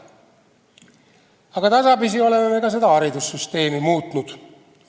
Aga tasapisi oleme me ka haridussüsteemi muutnud.